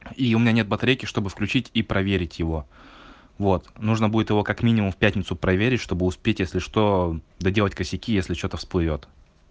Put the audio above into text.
и у меня нет батарейки чтобы включить и проверить его вот нужно будет его как минимум в пятницу проверить чтобы успеть если что доделать косяки если что-то всплывёт